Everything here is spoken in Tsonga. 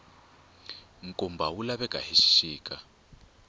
nkumba wu laveka hi xixika